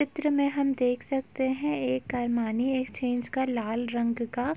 चित्र में हम देख सकते हैं एक अरमानी एक्सचेंज का लाल रंग का --